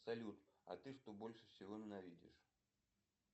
салют а ты что больше всего ненавидишь